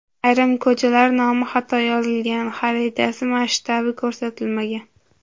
Ayrim ko‘chalar nomi xato yozilgan, xarita masshtabi ko‘rsatilmagan.